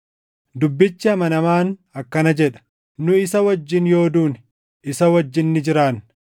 Dubbichi amanamaan akkana jedha: Nu isa wajjin yoo duune, isa wajjin ni jiraanna;